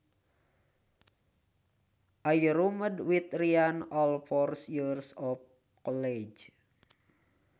I roomed with Ryan all four years of college